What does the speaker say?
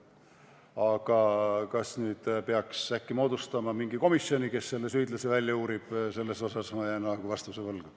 Aga kas nüüd peaks äkki moodustama mingi komisjoni, kes selle süüdlase välja uurib, selles suhtes ma jään vastuse võlgu.